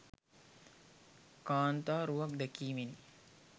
කාන්තා රුවක් දැකීමෙනි.